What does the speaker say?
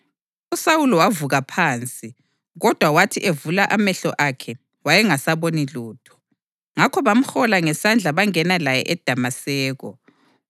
USawuli wavuka phansi, kodwa wathi evula amehlo akhe wayengasaboni lutho. Ngakho bamhola ngesandla bangena laye eDamaseko.